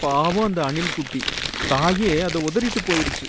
பாவம், அந்த அணில் குட்டி, தாயே அத உதறிட்டு போயிருச்சு.